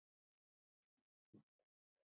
Ég er nafni hans.